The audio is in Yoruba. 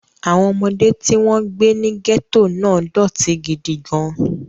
Àwọn ọmọdé tí wọ́n gbé ní gẹ́tò náà dọ̀tí gidi gan-an.